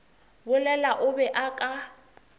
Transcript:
bolela o be o ka